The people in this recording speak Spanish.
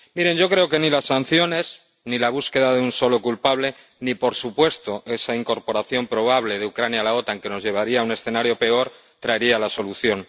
Miren, yo creo que ni las sanciones ni la búsqueda de un solo culpable ni, por supuesto, esa incorporación probable de Ucrania a la OTAN ―que nos llevaría a un escenario peor― traerían la solución.